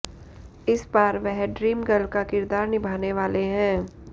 इस बार वह ड्रीम गर्ल का किरदार निभाने वाले हैं